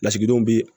Lasigidenw bɛ